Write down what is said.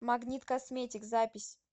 магнит косметик запись